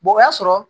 o y'a sɔrɔ